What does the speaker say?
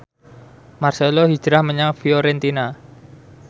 marcelo hijrah menyang Fiorentina